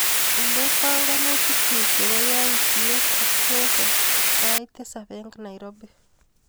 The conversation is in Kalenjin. Indee panganutikchu chebo yautyet ak Joseph sait tisap eng Nairobi.